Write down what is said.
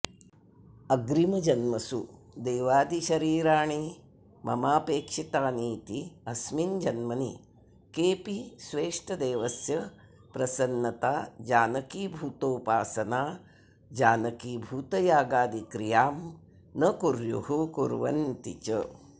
अग्रिमजन्मसू देवादिशरीराणि ममापेक्षितानीति अस्मिन् जन्मनि केऽपि स्वेष्टदेवस्य प्रसन्नताजनकीभूतोपासनाजनकीभूतयागादिक्रियां न कुर्युः कुर्वन्ति च